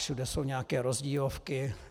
Všude jsou nějaké rozdílovky.